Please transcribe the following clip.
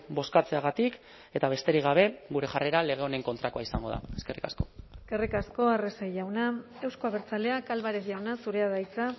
bozkatzeagatik eta besterik gabe gure jarrera lege honen kontrakoa izango da eskerrik asko eskerrik asko arrese jauna euzko abertzaleak álvarez jauna zurea da hitza